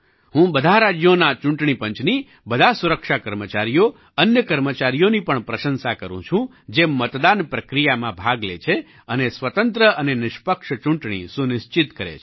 હું બધાં રાજ્યોના ચૂંટણી પંચની બધા સુરક્ષા કર્મચારીઓ અન્ય કર્મચારીઓની પણ પ્રશંસા કરું છું જે મતદાન પ્રક્રિયામાં ભાગ લે છે અને સ્વતંત્ર અને નિષ્પક્ષ ચૂંટણી સુનિશ્ચિત કરે છે